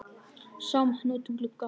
Sáum hann út um glugga.